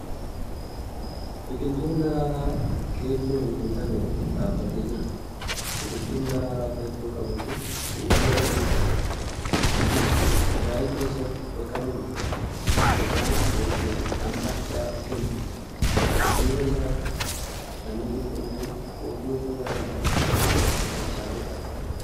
Biqiltuun daraaraa keelloon guutame tokko dhaabbatee jira. Biqiltuun daraaraa keelloo qabu kun suufii adii jedhama. Innis akaa'ii keessatti makamuun mi'aa yookiin dhama addaa kenna. Dudduuba isaatti samii qulqulluun hurrii ofirraa hin qabne mul'achaa jira.